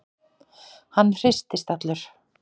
Hann hristist allur.